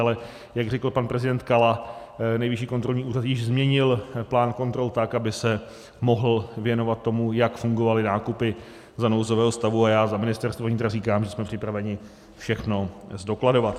Ale jak řekl pan prezident Kala, Nejvyšší kontrolní úřad již změnil plán kontrol tak, aby se mohl věnovat tomu, jak fungovaly nákupy za nouzového stavu, a já za Ministerstvo vnitra říkám, že jsme připraveni všechno zdokladovat.